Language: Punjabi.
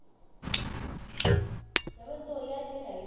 ਯਾਰ ਮੈਨੂੰ ਦੋ ਹਜ਼ਾਰ ਰੁਪਈਆ ਚਾਹੀਦਾ